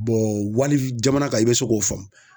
wali jamana kan i be se k'o faamu